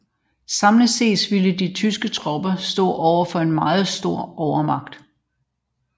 Samlet set ville de tyske tropper stå overfor en meget stor overmagt